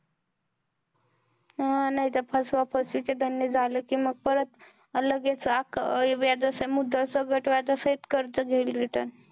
हा, नाहीतर फसवाफसवी चे धंदे झालेत कि मग परत, लगेच आख अं व्याजासही मुद्दल सगट व्याजासहित कर्ज घेईल return.